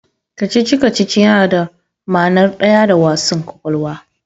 Kacici-kacici yana da ma'nar daya da wassan kwakwalwa.